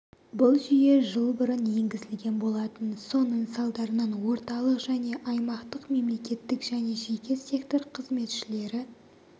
бұл жүйе жыл бұрын енгізілген болатын соның салдарынан орталық және аймақтық мемлекеттік және жеке сектор қызметшілері